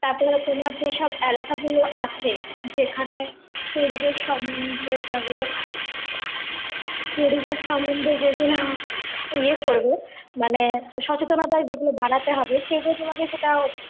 তারপরে তোমার যেসব এলাকাগুলো আছে যেখানে পরিবেশ সম্বন্ধে এগুলো পরিবেশ সম্বন্ধে যেগুলো য়ে করবে মানে সচেতনতার দিকে গুলো বাড়াতে হবে সেগুলো তোমাকে সেটা